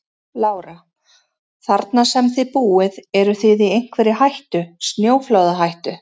Lára: Þarna sem að þið búið eruð þið í einhverri hættu, snjóflóðahættu?